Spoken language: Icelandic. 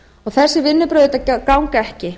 þessi vinnubrögð auðvitað ganga ekki